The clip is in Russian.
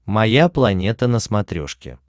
моя планета на смотрешке